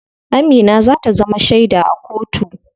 Amina za ta zama sheda a kotu.